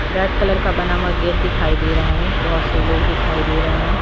Red colour का बना हुआ गेट दिखाई दे रहा है बहुत से लोग दिखाई दे रहे है।